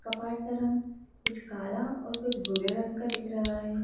का रंग कुछ काला और कुछ भूरे रंग का दिख रहा है।